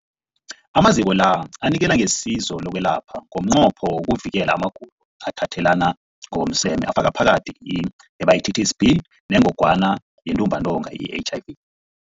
Amaziko la anikela ngesizo lokwelapha ngomnqopho wokuvikela amagulo athathelana ngokomseme afaka phakathi i-Hepatitis B neNgogwana yeNtumbantonga, i-HIV.